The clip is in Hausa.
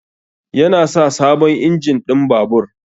Yana sa sabon injin ɗin babur.